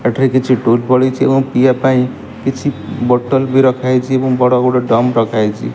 ଏଠାରେ ରେ କିଛି ଟୁଲ୍ ପଡିଚି ଏବଂ ପିଇବା ପାଇଁ କିଛି ବୋଟଲ ବି ରଖା ହେଇଚି ଏବଂ ବଡ଼ ବଡ଼ ଡ୍ରମ୍ ରଖା ହେଇଚି।